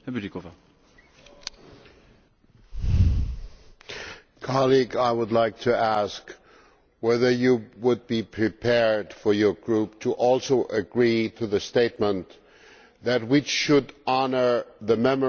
Colleague, I would like to ask whether you would be prepared for your group also to agree to the statement that we should honour the memory of the murdered Mr Nemtsov also